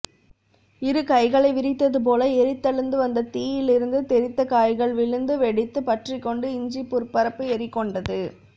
இரு கைகளை விரித்ததுபோல எரிந்தெழுந்து வந்த தீயிலிருந்து தெறித்த காய்கள் விழுந்து வெடித்து பற்றிக்கொண்டு இஞ்சிப்புற்பரப்பு எரிகொண்டது